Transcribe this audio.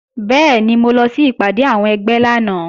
Bẹ́ẹ̀ni, mo lọ sí ìpàdé àwọn ẹgbẹ́ lánàá